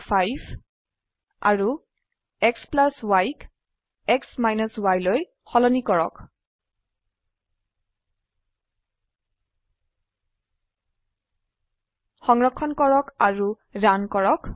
xy ক x yলৈ সলনি কৰক সংৰক্ষণ কৰক আৰু ৰান কৰক